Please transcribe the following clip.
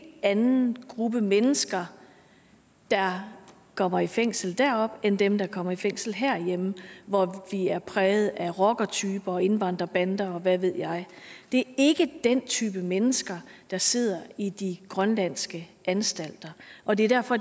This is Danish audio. anden gruppe mennesker der kommer i fængsel deroppe end dem der kommer i fængsel herhjemme hvor vi er præget af rockertyper og indvandrerbander og hvad ved jeg det er ikke den type mennesker der sidder i de grønlandske anstalter og det er derfor